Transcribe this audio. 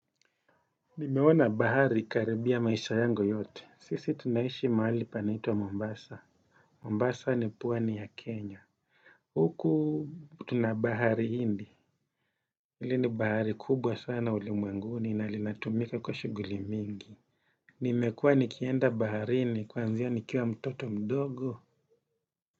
Nimeona bahari karibia maisha yangu yote. Sisi tunaishi mahali panaitwa Mombasa. Mombasa ni pwani ya Kenya. Huku tunabahari Hindi. Hili ni bahari kubwa sana ulimwenguni na linatumika kwa shughuli mingi. Nimekua nikienda baharini kwanzia nikiwa mtoto mdogo.